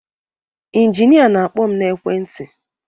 Inginịa na-akpọ m n'ekwentị